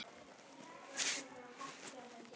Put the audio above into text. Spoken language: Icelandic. Lifði þær raunir af.